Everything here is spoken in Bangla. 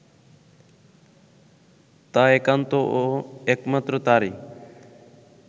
তা একান্ত ও একমাত্র তারই